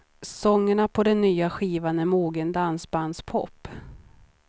Sångerna på nya skivan är mogen dansbandspop.